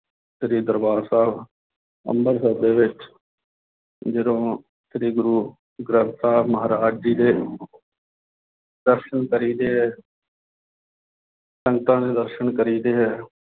ਸ੍ਰੀ ਦਰਬਾਰ ਸਾਹਿਬ ਅੰਬਰਸਰ ਦੇ ਵਿੱਚ ਜਦੋਂ ਸ੍ਰੀ ਗੁਰੂ ਗ੍ਰੰਥ ਸਾਹਿਬ ਮਹਾਰਾਜ ਜੀ ਦੇ ਦਰਸਨ ਕਰੀ ਦੇ ਹੈ ਸੰਗਤਾਂ ਦੇ ਦਰਸਨ ਕਰੀ ਦੇ ਹੈ